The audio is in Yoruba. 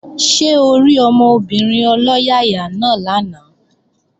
Ṣé orí ọmọbìnrin ọlọ́yàyà náà lánàá?